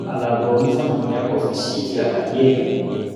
ọrọ alàgbà olófààná niyàbò fi ṣíde àlàyé ẹ